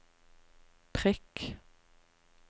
prikk